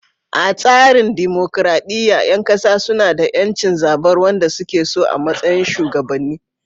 A tsarin dimokuradiyya, ƴan kasa suna da ƴancin zabar wanda suke so a matsayin shugabanni.